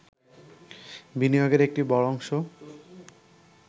বিনিয়োগের একটি বড় অংশ